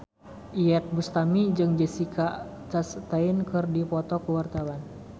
Iyeth Bustami jeung Jessica Chastain keur dipoto ku wartawan